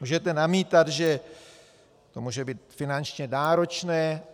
Můžete namítat, že to může být finančně náročné.